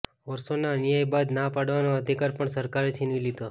વર્ષોના અન્યાય બાદ ના પાડવાનો અધિકાર પણ સરકારે છીનવી લીધો